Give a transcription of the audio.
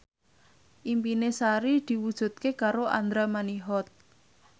impine Sari diwujudke karo Andra Manihot